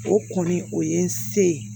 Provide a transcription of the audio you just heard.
O kɔni o ye n se